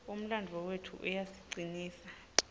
umlandvo wetfu uyasicinisa